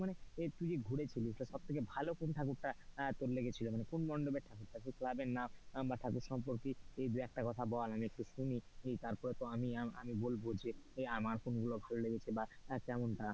তুই যে ঘুরেছিলি তো সব থেকে ভালো কোন ঠাকুর টা আহ তোর লেগেছিলো বা কোন মণ্ডপের ঠাকুরটা বা ক্লাব এর নাম বা ঠাকুর সম্পৰ্কে দুই একটা কথা বল আমি একটু শুনি, তারপরে আমি বলবো যে আমার কোন গুলো ভালো লেগেছে বা তেমন টা,